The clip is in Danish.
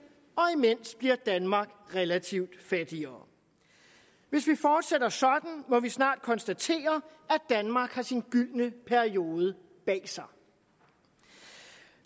og imens bliver danmark relativt fattigere hvis vi fortsætter sådan må vi snart konstatere at danmark har sin gyldne periode bag sig